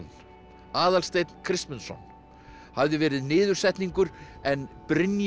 Aðalsteinn Kristmundsson hafði verið niðursetningur en